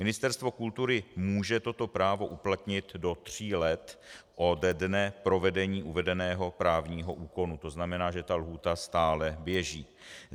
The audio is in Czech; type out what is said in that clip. Ministerstvo kultury může toto právo uplatnit do tří let ode dne provedení uvedeného právního úkonu, to znamená, že ta lhůta stále běží.